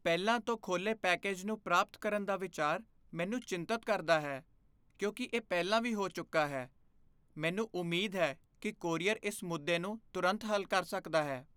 ਪਹਿਲਾਂ ਤੋਂ ਖੋਲ੍ਹੇ ਪੈਕੇਜ ਨੂੰ ਪ੍ਰਾਪਤ ਕਰਨ ਦਾ ਵਿਚਾਰ ਮੈਨੂੰ ਚਿੰਤਤ ਕਰਦਾ ਹੈ ਕਿਉਂਕਿ ਇਹ ਪਹਿਲਾਂ ਵੀ ਹੋ ਚੁੱਕਾ ਹੈ, ਮੈਨੂੰ ਉਮੀਦ ਹੈ ਕਿ ਕੋਰੀਅਰ ਇਸ ਮੁੱਦੇ ਨੂੰ ਤੁਰੰਤ ਹੱਲ ਕਰ ਸਕਦਾ ਹੈ।